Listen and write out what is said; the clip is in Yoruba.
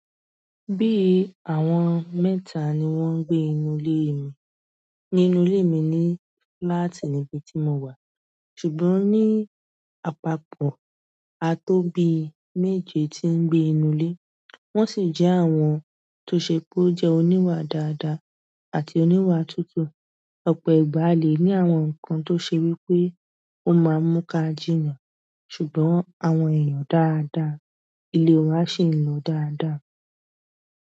Bí àwọn mẹ́ta ni wọ́n ń gbé inú ilé mi. Inú ilé mi ní flat nibi tí mo wà, ṣùgbọ́n ní àpapọ̀ a tó bí méje tí ń gbé inú ilé, wọ́n sì jẹ́ àwọn tó ṣe pé ó jẹ́ oníwà dáadáa àti oníwà tútù. Ọpọ ìgbà a le ni àwọn nkan to sewipe o maa n mu ka jiyan ṣùgbọ́n àwọn èyán dáa dáa le wa seyan dáa daa.